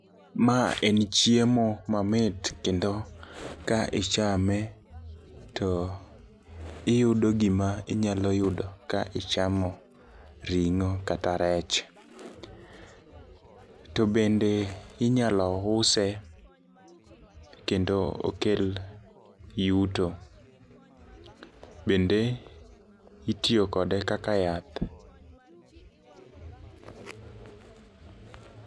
Ma en chiemo mamit kendo ka ichame to iyudo gima inyalo yudo ka ichamo ring'o kata rech. To bende inyalo use kendo okel yuto bende itiyo kode kaka yath